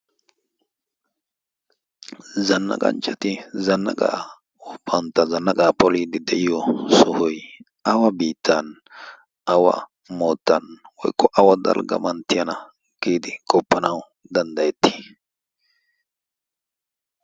zanna qanchchati zanna gaa oppantta zanna qaa poliiddi de'iyo sohoi awa biittan awa moottan woyqqo awa dalgga manttiyana giidi qoppanawu danddayetti